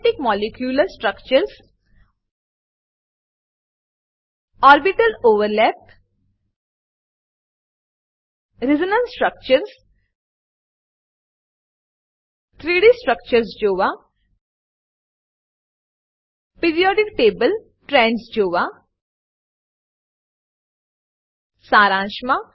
aromatic molecular structures aromatic molecular structure orbital overlap orbital overlap resonance structures resonance structure 3ડી structures જોવા periodic table trends જોવા સારાંશ મા